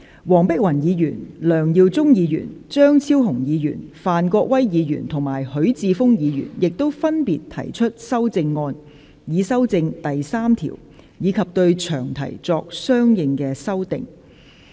黃碧雲議員、梁耀忠議員、張超雄議員、范國威議員及許智峯議員亦分別提出修正案，以修正第3條，以及對詳題作相應修訂。